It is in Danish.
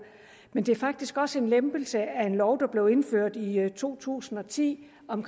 men det er faktisk også en lempelse af en lov der blev indført i to tusind og ti om